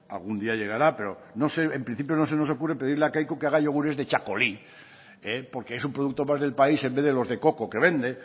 algún día llegará pero no sé en principio no se nos ocurre pedirle a kaiku que haya yogures de txakoli porque es un producto más del país en vez de los de coco que vende